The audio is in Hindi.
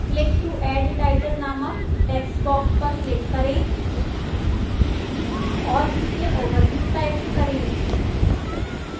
click to add title नामक textbox पर click करें और इसमें overview type करें